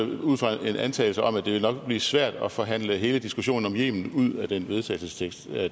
det ud fra en antagelse om at det nok ville blive svært at forhandle hele diskussionen om yemen ud af den vedtagelsestekst